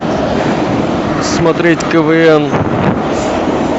смотреть квн